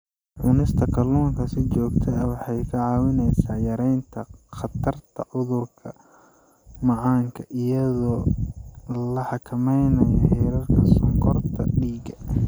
Cunista kalluunka si joogto ah waxay kaa caawinaysaa yaraynta khatarta cudurka macaanka iyadoo la xakameynayo heerarka sonkorta dhiigga.